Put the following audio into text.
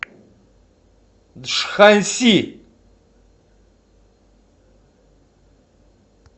джханси